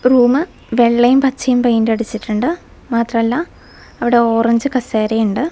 Room വെള്ളയും പച്ചയും paint അടിച്ചിട്ടുണ്ട് മാത്രമല്ല അവിടെ ഓറഞ്ച് കസേരയും ഉണ്ട്.